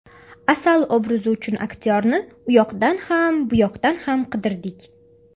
Asal obrazi uchun aktyorni uyoqdan ham, buyoqdan ham qidirdik.